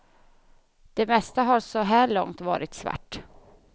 Det mesta har så här långt varit svart.